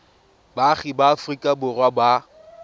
baagi ba aforika borwa ba